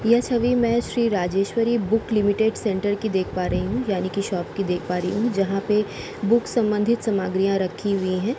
यह छवि मै Shri Rajeswari book limited centre की देख पा रही हूँ यानि कि शॉप की देख पा रही हूँ । जहाँ पे बुक संबंधित सामग्रियाँ रखी हुई हैं ।